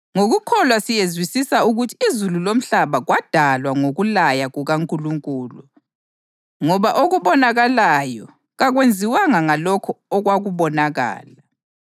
Ngokukholwa siyezwisisa ukuthi izulu lomhlaba kwadalwa ngokulaya kukaNkulunkulu, ngoba okubonakalayo kakwenziwanga ngalokho okwakubonakala.